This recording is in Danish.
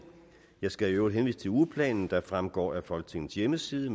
jeg skal i øvrigt henvise til ugeplanen der ligeledes fremgår af folketingets hjemmeside